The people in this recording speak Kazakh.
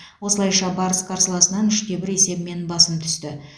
осылайша барыс қарсыласынан үш те бір есебімен басым түсті